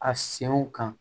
A senw kan